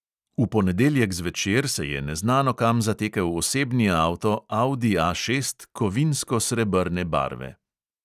V ponedeljek zvečer se je neznano kam zatekel osebni avto audi A šest kovinsko srebrne barve.